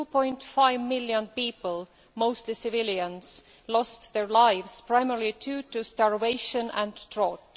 2.5 million people mostly civilians lost their lives, primarily due to starvation and drought.